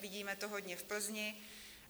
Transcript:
Vidíme to hodně v Plzni.